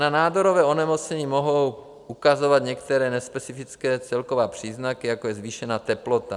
Na nádorové onemocnění mohou ukazovat některé nespecifické celkové příznaky, jako je zvýšená teplota.